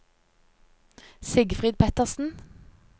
Sigfrid Pettersen